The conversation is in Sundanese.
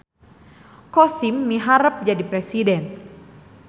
Kosim miharep jadi presiden